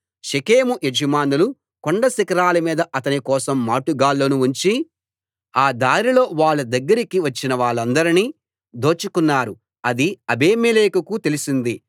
షెకెము యజమానులు కొండ శిఖరాలమీద అతని కోసం మాటు గాళ్ళను ఉంచి ఆ దారిలో వాళ్ళ దగ్గరికి వచ్చిన వాళ్ళందరినీ దోచుకున్నారు అది అబీమెలెకుకు తెలిసింది